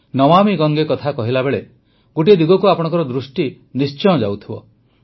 ନମାମୀ ଗଙ୍ଗେ କଥା କହିଲା ବେଳେ ଗୋଟିଏ ଦିଗକୁ ଆପଣଙ୍କ ଦୃଷ୍ଟି ନିଶ୍ଚୟ ଯାଇଥିବ